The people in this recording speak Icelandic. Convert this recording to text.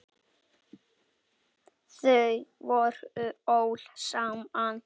Þau voru öll saman.